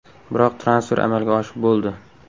Biroq transfer amalga oshib bo‘ldi.